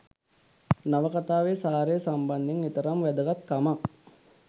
නවකතාවේ සාරය සම්බන්ධයෙන් එතරම් වැදගත් කමක්